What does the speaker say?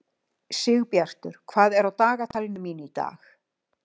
Sigbjartur, hvað er á dagatalinu mínu í dag?